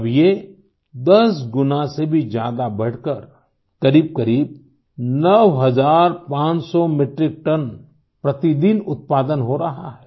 अब ये 10 गुना से भी ज्यादा बढ़करकरीबकरीब 9500 मेट्रिक टन प्रतिदिन उत्पादन हो रहा है